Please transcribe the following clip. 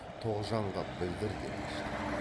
тоғжанға білдір деп ашты